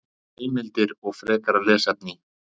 Heimildir og frekara lesefni